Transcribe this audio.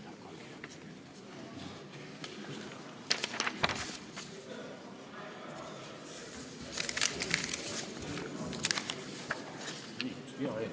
See on üks hea eelnõu.